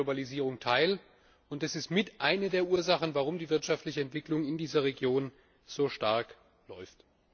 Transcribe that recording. Sie nehmen an der Globalisierung teil, und dies ist mit eine der Ursachen, warum die wirtschaftliche Entwicklung in dieser Region so stark läuft.